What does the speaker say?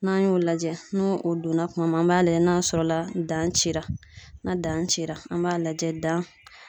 N'an y'o lajɛ ,n'o o donna kuma min, an b'a lajɛ n'a sɔrɔla dancira, na danci la ,an b'a lajɛ